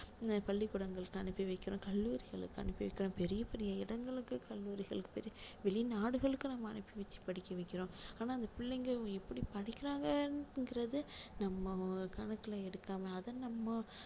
அஹ் பள்ளிக்கூடங்களுக்கு அனுப்பி வைக்கிறோம் கல்லூரிகளுக்கு அனுப்பி வைக்கிறோம் பெரிய பெரிய இடங்களுக்கு கல்லூரிகளுக்கு வெளிநாடுகளுக்கு நம்ம அனுப்பி வச்சு படிக்க வைக்கிறோம் ஆனா அந்த பிள்ளைங்க எப்படி படிக்கிறாங்கங்குறது நம்ம கணக்குல எடுக்காம அதை நம்ம